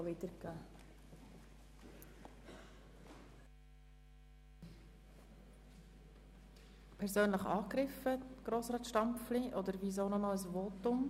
Fühlen Sie sich persönlich angegriffen, Grossrat Stampfli, oder weshalb wollen Sie noch einmal sprechen?